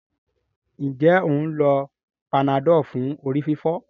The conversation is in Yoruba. Njé o ń ló Panadol fún orí-fífọ́?